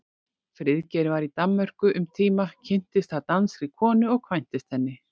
Friðgeir var í Danmörku um tíma, kynntist þar danskri konu og kvæntist henni.